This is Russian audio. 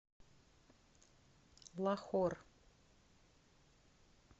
лахор